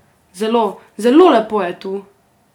Zelo, zelo lepo je tu!